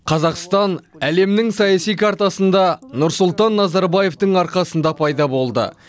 қазақстан әлемнің саяси картасында нұрсұлтан назарбаевтың арқасында пайда болды